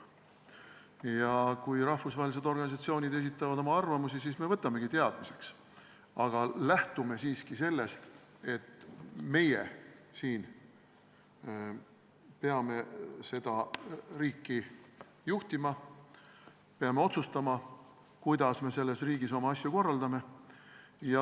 Ja kui rahvusvahelised organisatsioonid esitavad oma arvamusi, siis me võtame need teadmiseks, aga lähtume siiski sellest, et meie siin peame seda riiki juhtima ja peame otsustama, kuidas me selles riigis oma asju korraldame.